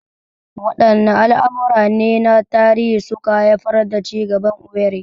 Waɗanne al'amura ne na tarihi suka haifar da cigaban Owerri?